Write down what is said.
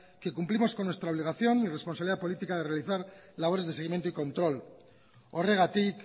que cumplimos con nuestra obligación y responsabilidad política de realizar labores de seguimiento y control horregatik